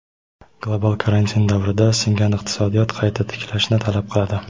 "Global karantin" davrida singan iqtisodiyot qayta tiklashni talab qiladi.